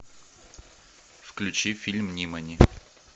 включи фильм нимани